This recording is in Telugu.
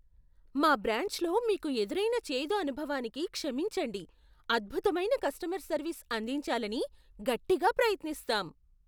మా బ్రాంచ్లో మీకు ఎదురైన చేదు అనుభవానికి క్షమించండి. అద్భుతమైన కస్టమర్ సర్వీస్ అందించాలని గట్టిగా ప్రయత్నిస్తాం